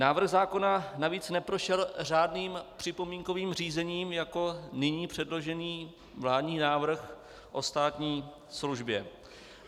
Návrh zákona navíc neprošel řádným připomínkovým řízením jako nyní předložený vládní návrh o státní službě.